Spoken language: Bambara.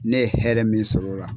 Ne hɛrɛ min sɔrɔ o la.